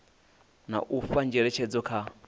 na u fha ngeletshedzo kha